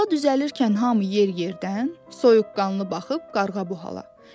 Yola düzələrkən hamı yer-yerədən, soyuqqanlı baxıb qarğabu hala.